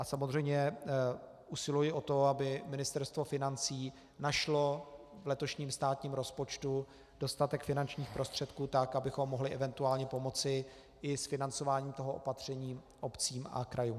A samozřejmě usiluji o to, aby Ministerstvo financí našlo v letošním státním rozpočtu dostatek finančních prostředků tak, abychom mohli eventuálně pomoci i s financováním toho opatření obcím a krajům.